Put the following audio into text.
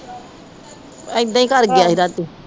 ਏਦਾਂ ਹੀ ਕਰ ਗਿਆ ਸੀ ਰਾਤੀ